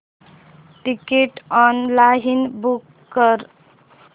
ticket online book कर